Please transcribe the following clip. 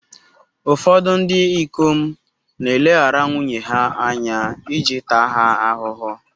Ụfọdụ ndị ikom na-eleghara nwunye ha anya iji taa ha ahụhụ.